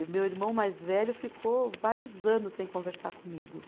E meu irmão mais velho ficou vários anos sem conversar comigo.